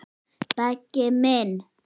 Beggi minn.